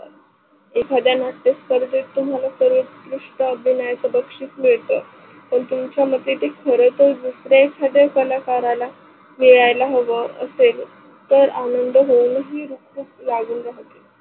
एखाद्या नाट्य स्पर्धेत तुम्हाला उत्कृष्ट अभिनयाचं बक्षिसे मिळत, व तुमच्या मध्ये ते खरतर दुसऱ्या एकांध्य कलाकाराला मिळाला हव असेल तर आनंद होऊन ती लागून